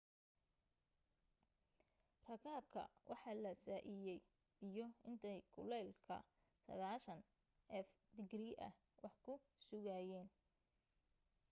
rakaabka waxa la saiiyay biyo intay kulka 90f digrii ah wax ku sugayeen